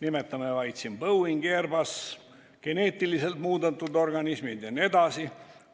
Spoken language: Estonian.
Nimetame siin: Boeing, Airbus, geneetiliselt muundatud organismid jne.